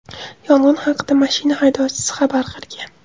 Yong‘in haqida mashina haydovchisi xabar qilgan.